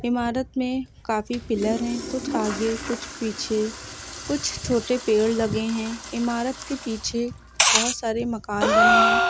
इमारत में काफी पिलर है कुछ आगे कुछ पीछे कुछ छोटे पेड़ लगे हैं इमारत के पीछे बहोत सारे मकान बने हैं।